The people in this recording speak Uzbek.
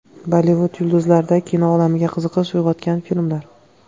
Bollivud yulduzlarida kino olamiga qiziqish uyg‘otgan filmlar.